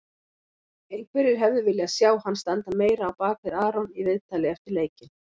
Einhverjir hefðu viljað sjá hann standa meira á bakvið Aron í viðtali eftir leikinn.